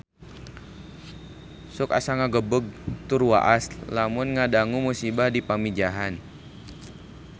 Sok asa ngagebeg tur waas lamun ngadangu musibah di Pamijahan